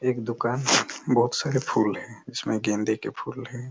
एक दुकान बहुत सारे फूल है जिसमे गेंदे के फूल है।